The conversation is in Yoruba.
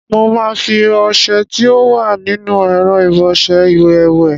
Mo máa fi ọṣẹ tí ó wà nínú ẹ̀rọ ìbọṣẹ iwẹ̀ wẹ̀.